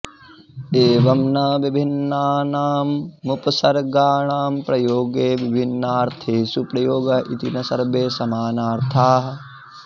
एवं न विभिन्न्नानामुपसर्गाणां प्रयोगे विभिन्नार्थेषु प्रयोगः इति न सर्वे समानार्थाः